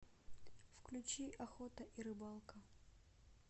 включи охота и рыбалка